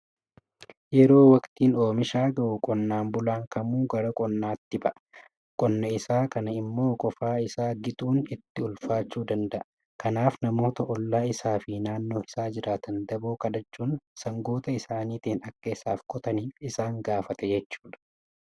Yeroo waqtiin oomishaa ga'u qonnaan bulaan Kamuu gara qonnaatti ba'a. Qonna isaa kana immoo qofaa isaa gixuun itti ulfaachuu danda'a. Kanaaf namoota ollaa isaa fi naannoo isaa jiraatan daboo kadhachuun sangoota isaaniitiin akka isaaf qotaniif isaan gaafata jechuudha.